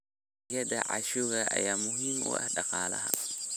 Dalagyada cashew ayaa muhiim u ah dhaqaalaha.